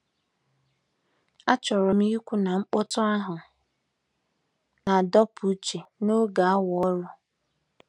Achọrọ m ikwu na mkpọtụ ahụ na-adọpụ uche n'oge awa ọrụ.